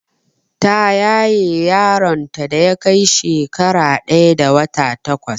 Ta yaye yaron ta da yakai shekara ɗaya da wata takwas